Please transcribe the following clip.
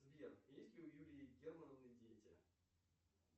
сбер есть ли у юлии германовны дети